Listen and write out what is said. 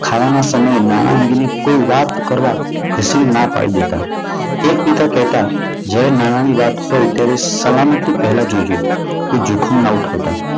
ખાવા સમયે નાણાં અંગેની કોઈ વાત કરવા ઘસીને ના પાડી દેતા. એક પિતા કહેતા જાણે નાના ની વાત હોય ત્યારે સલામતી પહેલા જોજો. કોઈ જોખમ ના ઉઠાવતા.